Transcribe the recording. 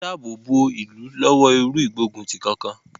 Wọ́n ń dáàbò bo ìlú lọ́wọ́ irú ìgbóguntì kankan.